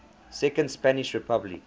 second spanish republic